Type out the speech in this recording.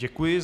Děkuji.